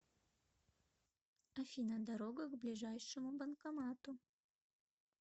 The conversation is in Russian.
афина дорога к ближайшему банкомату